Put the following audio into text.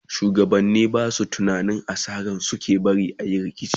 shugabani Basu tunanin asara suke barin ayi rikici?